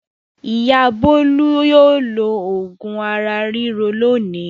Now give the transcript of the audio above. Ìyá Bólú yóò lo òògùn ara ríro lónìí.